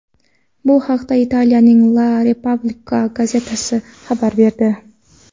Bu haqda Italiyaning La Repubblica gazetasi xabar berdi .